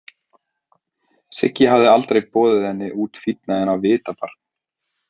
Siggi hafði aldrei boðið henni út fínna en á Vitabar.